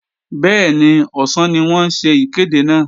Bẹ́ẹ̀ni, ọ̀sán ni wọ́n ń ṣe ìkéde náà